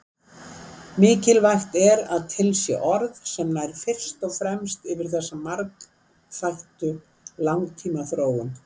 Mikilvægt er að til sé orð sem nær fyrst og fremst yfir þessa margþættu langtímaþróun.